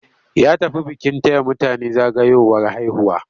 Ya tafi bikin taya mutane zagayowar haihuwa.